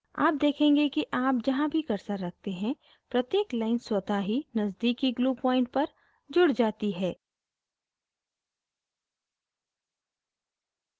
आप देखेंगे कि आप जहाँ भी cursor रखते हैं प्रत्येक line स्वतः ही नज़दीकी glue point पर जुड़ जाती है